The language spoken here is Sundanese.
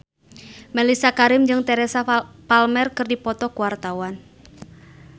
Mellisa Karim jeung Teresa Palmer keur dipoto ku wartawan